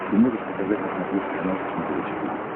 ты можешь показать на смотрешке канал фэшен тв четыре к